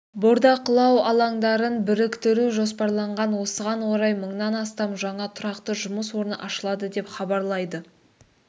бордақылау алаңдарын біріктіру жоспарланған осыған орай мыңнан астам жаңа тұрақты жұмыс орны ашылады деп хабарлайды